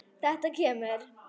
Þetta kemur.